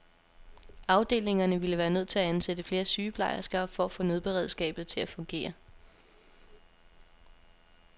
Afdelingerne ville være nødt til at ansætte flere sygeplejersker for at få nødberedskabet til at fungere.